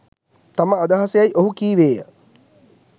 තම අදහස යැයි ඔහු කීවේය